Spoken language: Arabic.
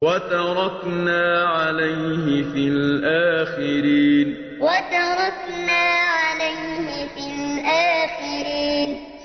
وَتَرَكْنَا عَلَيْهِ فِي الْآخِرِينَ وَتَرَكْنَا عَلَيْهِ فِي الْآخِرِينَ